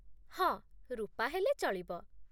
ହଁ, ରୂପା ହେଲେ ଚଳିବ ।